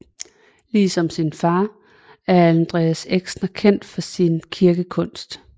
Ligesom sin far er Andreas Exner kendt for sin kirkekunst